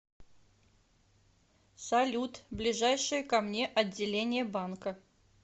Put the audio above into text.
салют ближайшее ко мне отделение банка